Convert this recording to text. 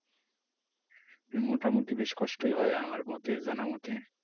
মোটামুটি বেশ কষ্টই হয় আমার মতে জানা মতে।